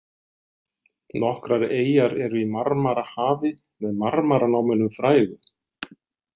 Nokkrar eyjar eru í Marmarahafi með marmaranámunum frægu.